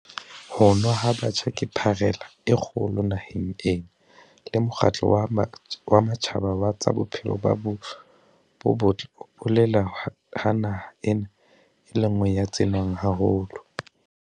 Ho nwa ha batjha ke pharela e kgolo naheng ena, le Mokgatlo wa Matjhaba wa tsa Bophelo bo Botle o bolela ha naha ena e le e nngwe ya tse nwang haholo.